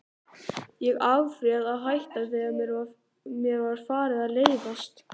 Ég afréð að hætta, þegar mér var farið að leiðast.